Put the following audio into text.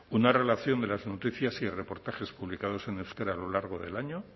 una relación de las noticias y reportajes publicados en euskera a lo largo del año